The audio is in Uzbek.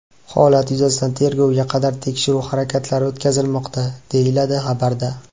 Holat yuzasidan tergovga qadar tekshiruv harakatlari o‘tkazilmoqda, deyiladi xabarda.